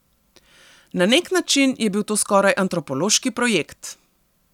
Na nek način je bil to skoraj antropološki projekt!